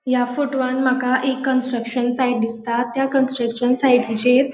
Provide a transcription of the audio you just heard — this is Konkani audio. या फोटवान माका एक कन्स्ट्रक्शन साइट दिसता त्या कन्स्ट्रक्शन सायटीचेर ---